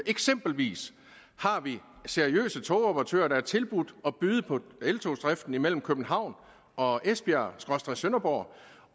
eksempel har seriøse togoperatører tilbudt at byde på eltogsdriften imellem københavn og esbjergsønderborg